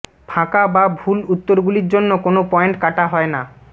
ফাঁকা বা ভুল উত্তরগুলির জন্য কোন পয়েন্ট কাটা হয় না